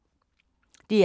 DR K